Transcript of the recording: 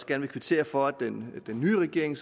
gerne kvittere for at den nye regering